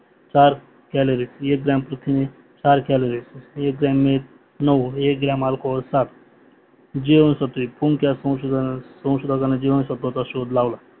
calorie gram प्रथिने, calorie gram मिठ gram alcohol, जीवनसत्वे फंक या संशोधनाने जीवांसत्वाचा शोध लावला